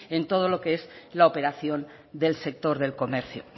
en todo lo que es la operación del sector del comercio